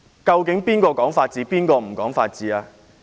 究竟誰講法治，誰不講法治？